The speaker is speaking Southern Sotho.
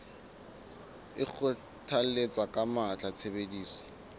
o kgothalletsa ka matla tshebediso